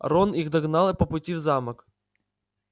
рон их догнал по пути в замок